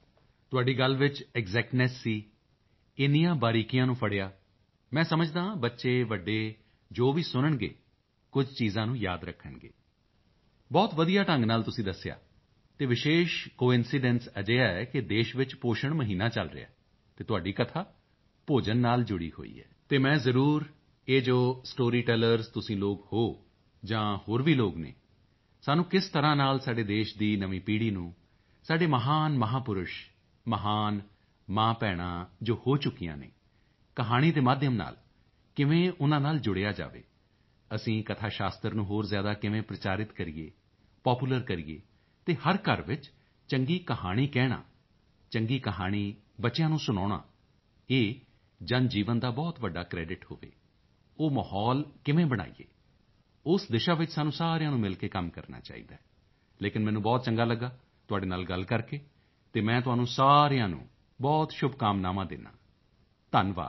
ਤੁਹਾਡੀ ਗੱਲ ਵਿੱਚ ਐਕਸੈਕਟਨੈਸ ਸੀ ਇੰਨੀਆਂ ਬਾਰੀਕੀਆਂ ਨੂੰ ਫੜ੍ਹਿਆ ਮੈਂ ਸਮਝਦਾ ਹਾਂ ਬੱਚੇ ਵੱਡੇ ਜੋ ਵੀ ਸੁਣਨਗੇ ਕਈ ਚੀਜ਼ਾਂ ਨੂੰ ਯਾਦ ਰੱਖਣਗੇ ਬਹੁਤ ਵਧੀਆ ਢੰਗ ਨਾਲ ਤੁਸੀਂ ਦੱਸਿਆ ਅਤੇ ਵਿਸ਼ੇਸ਼ ਕੋਇੰਸੀਡੈਂਸ ਅਜਿਹਾ ਹੈ ਕਿ ਦੇਸ਼ ਵਿੱਚ ਪੋਸ਼ਣ ਮਹੀਨਾ ਚਲ ਰਿਹਾ ਹੈ ਅਤੇ ਤੁਹਾਡੀ ਕਥਾ ਭੋਜਨ ਨਾਲ ਜੁੜੀ ਹੋਈ ਹੈ ਅਤੇ ਮੈਂ ਜ਼ਰੂਰ ਇਹ ਜੋ ਸਟੋਰੀ ਟੈਲਰਜ਼ ਤੁਸੀਂ ਲੋਕ ਹੋ ਜਾਂ ਹੋਰ ਵੀ ਲੋਕ ਹਨ ਸਾਨੂੰ ਕਿਸ ਤਰ੍ਹਾਂ ਨਾਲ ਸਾਡੇ ਦੇਸ਼ ਦੀ ਨਵੀਂ ਪੀੜ੍ਹੀ ਨੂੰ ਸਾਡੇ ਮਹਾਨ ਮਹਾਪੁਰਸ਼ ਮਹਾਨ ਮਾਂਭੈਣਾਂ ਜੋ ਹੋ ਚੁੱਕੀਆਂ ਹਨ ਕਹਾਣੀਆਂ ਦੇ ਮਾਧਿਅਮ ਨਾਲ ਕਿਵੇਂ ਜੁੜਿਆ ਜਾਵੇ ਅਸੀਂ ਕਥਾਸ਼ਾਸਤਰ ਨੂੰ ਹੋਰ ਜ਼ਿਆਦਾ ਕਿਵੇਂ ਪ੍ਰਚਾਰਿਤ ਕਰੀਏ ਪਾਪੂਲਰ ਕਰੀਏ ਅਤੇ ਹਰ ਘਰ ਵਿੱਚ ਚੰਗੀ ਕਹਾਣੀ ਕਹਿਣਾ ਚੰਗੀ ਕਹਾਣੀ ਬੱਚਿਆਂ ਨੂੰ ਸੁਣਾਉਣਾ ਇਹ ਜਨਜੀਵਨ ਦਾ ਬਹੁਤ ਵੱਡਾ ਕ੍ਰੈਡਿਟ ਹੋਵੇ ਉਹ ਮਾਹੌਲ ਕਿਵੇਂ ਬਣਾਈਏ ਉਸ ਦਿਸ਼ਾ ਵਿੱਚ ਸਾਨੂੰ ਸਾਰਿਆਂ ਨੂੰ ਮਿਲ ਕੇ ਕੰਮ ਕਰਨਾ ਚਾਹੀਦਾ ਹੈ ਲੇਕਿਨ ਮੈਨੂੰ ਬਹੁਤ ਚੰਗਾ ਲਗਿਆ ਤੁਹਾਡੇ ਨਾਲ ਗੱਲ ਕਰਕੇ ਅਤੇ ਮੈਂ ਤੁਹਾਨੂੰ ਸਾਰਿਆਂ ਨੂੰ ਬਹੁਤ ਸ਼ੁਭਕਾਮਨਾਵਾਂ ਦਿੰਦਾ ਹਾਂ ਧੰਨਵਾਦ